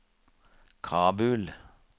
Kabul